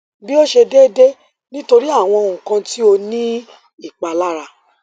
bi o ṣe deede nitori awọn nkan ti o ni ipalara